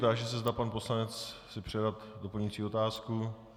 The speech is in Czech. Táži se, zda pan poslanec si přeje doplňující otázku.